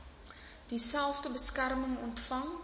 dieselfde beskerming ontvang